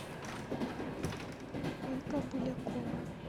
ольга булякова